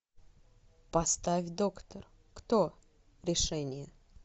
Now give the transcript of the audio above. поставь доктор кто решение